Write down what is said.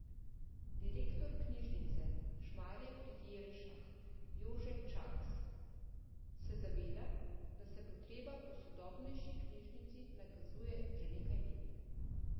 Direktor knjižnice Šmarje pri Jelšah Jože Čakš se zaveda, da se potreba po sodobnejši knjižnici nakazuje že nekaj let.